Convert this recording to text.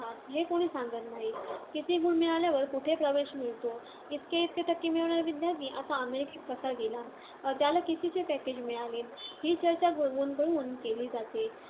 हे कोणी सांगत नाही. किती गुण मिळाल्यावर कुठे प्रवेश मिळतो? इतके इतके टक्के मिळवणारा विदयार्थी आता अमेरिकेत कसा गेला? त्याला कितीचे package मिळाले? ही चर्चा घोळवून घोळवून केली जाते.